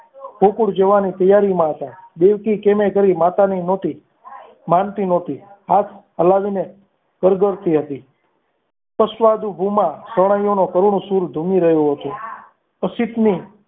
ગોકુળ જવાની તૈયારીમાં હતા દિલથી ક્યારે કરી માતાની નહોતી માનતી નહોતી હાથ હલાવીને કરગરતી હતી ભૂમી રહ્યો હતો અસિત નિ